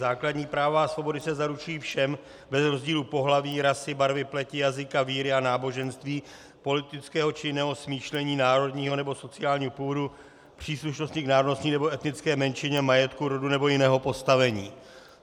"Základní práva a svobody se zaručují všem bez rozdílu pohlaví, rasy, barvy pleti, jazyka, víry a náboženství, politického či jiného smýšlení národního nebo sociálního původu, příslušnosti k národnostní nebo etnické menšině, majetku, rodu nebo jiného postavení."